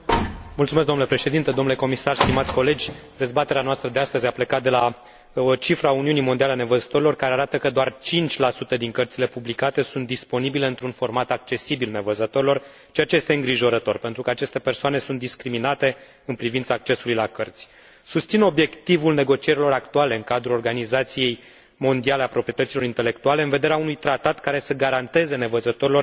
Dezbaterea noastră de astăzi a plecat de la o cifră a Uniunii Mondiale a Nevăzătorilor, care arată că doar 5 din cărțile publicate sunt disponibile într un format accesibil nevăzătorilor, ceea ce este îngrijorător, pentru că aceste persoane sunt discriminate în privința accesului la cărți. Susțin obiectivul negocierilor actuale în cadrul Organizației Mondiale a Proprietății Intelectuale în vederea unui tratat care să garanteze nevăzătorilor acces egal cu cei fără deficiențe de vedere.